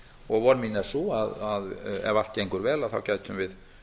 og von mín er sú að ef allt gengur vel gætum við